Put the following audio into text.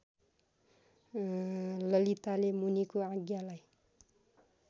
ललिताले मुनिको आज्ञालाई